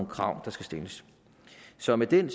krav der skal stilles så med den